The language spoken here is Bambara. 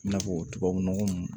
I n'a fɔ tubabu nɔgɔ mun